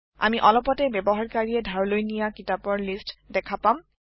আমি অলপতে ব্যবহাৰকাৰীয়ে ধাৰলৈ নিয়া কিতাপৰ লিয্ট দেখা পাম